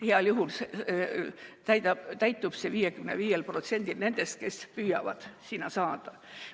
Heal juhul täitub see 55%‑l juhtudest, kui inimesed püüavad sinna saada.